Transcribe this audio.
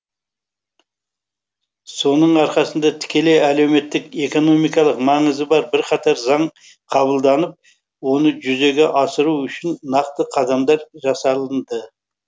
соның арқасында тікелей әлеуметтік экономикалық маңызы бар бірқатар заң қабылданып оны жүзеге асыру үшін нақты қадамдар жасалынды